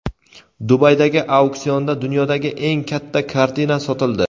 Dubaydagi auksionda dunyodagi eng katta kartina sotildi.